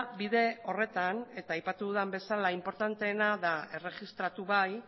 bide horretan eta aipatu dudan bezala inportanteena da erregistratu bai